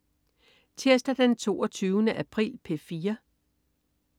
Tirsdag den 22. april - P4: